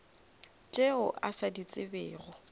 tšeo a sa di tsebego